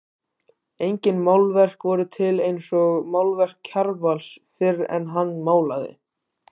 Engin málverk voru til eins og málverk Kjarvals fyrr en hann málaði.